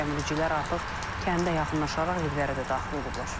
Gəmiricilər artıq kəndə yaxınlaşaraq evlərə də daxil olublar.